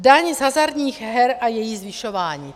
Daň z hazardních her a její zvyšování.